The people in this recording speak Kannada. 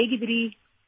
ನೀವು ಹೇಗಿದ್ದೀರಿ